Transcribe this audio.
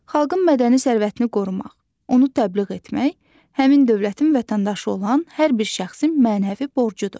Xalqın mədəni sərvətini qorumaq, onu təbliğ etmək həmin dövlətin vətəndaşı olan hər bir şəxsin mənəvi borcudur.